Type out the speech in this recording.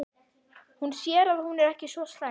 Hún sér að hún er ekki svo slæm.